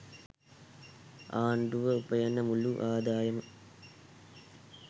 ආණ්ඩුව උපයන මුළු ආදායම